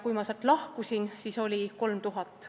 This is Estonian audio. Kui ma sealt lahkusin, siis oli töötajaid 3000.